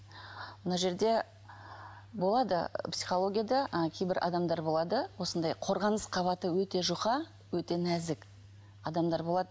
мына жерде болады психологияда ы кейбір адамдар болады осындай қорғаныс қабаты өте жұқа өте нәзік адамдар болады